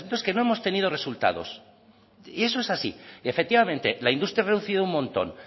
es que no hemos tenido resultados y eso es así y efectivamente la industria ha reducido un montón